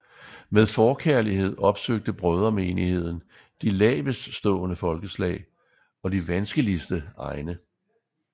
Med forkærlighed opsøgte Brødremenigheden de laveststående folkeslag og de vanskeligste egne